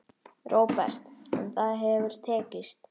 Róbert: En það hefur tekist?